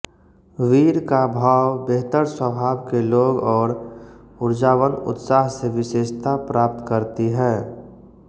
वीर का भाव बेहतर स्वभाव के लोग और उर्जावन उत्साह से विषेशता प्राप्त करती है